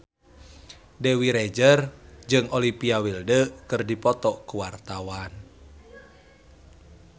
Dewi Rezer jeung Olivia Wilde keur dipoto ku wartawan